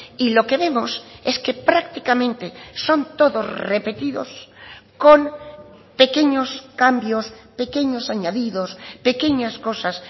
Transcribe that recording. y lo que vemos es que prácticamente son todos repetidos con pequeños cambios pequeños añadidos pequeñas cosas